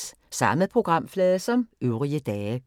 Samme programflade som øvrige dage